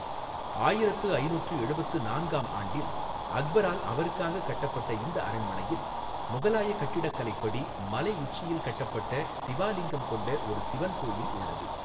ஆயிரத்து ஐநூற்று எழுபத்து நான்கு ஆம் ஆண்டில் அக்பரால் அவருக்காக கட்டப்பட்ட இந்த அரண்மனையில் முகலாய கட்டிடக்கலைப் படி மலை உச்சியில் கட்டப்பட்ட சிவா லிங்கம் கொண்ட ஒரு சிவன் கோயில் உள்ளது.